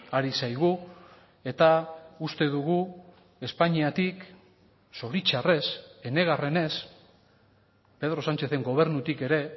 ari zaigu eta uste dugu espainiatik zoritzarrez enegarrenez pedro sánchezen gobernutik ere